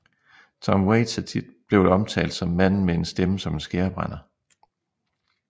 Tom Waits er tit blevet omtalt som manden med en stemme som en skærebrænder